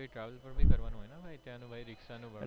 ને travel બી કરવાનું હોયને ભાઈ ત્યાનું ભાઈ ricksha નું ભાડું